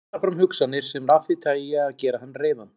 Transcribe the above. Hann kallar fram hugsanir sem eru af því tagi að gera hann reiðan.